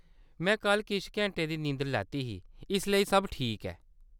में कल्ल किश घैंटे दी नींदर लैती ही, इसलेई सब ठीक ऐ।